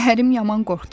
Ərim yaman qorxdu.